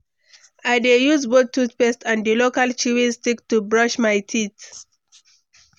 I dey use both toothpaste and di local chewing stick to brush my teeth.